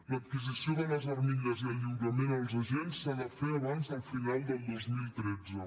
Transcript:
l’adquisició de les armilles i el lliurament als agents s’ha de fer abans del final del dos mil tretze